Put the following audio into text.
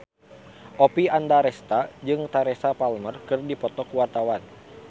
Oppie Andaresta jeung Teresa Palmer keur dipoto ku wartawan